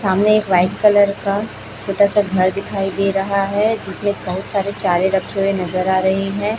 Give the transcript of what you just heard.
सामने एक white colour का छोटा सा घर दिखाई दे रहा है जिसमें बहुत सारे चारे रखे हुए नजर आ रहे हैं।